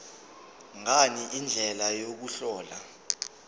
ngani indlela yokuhlola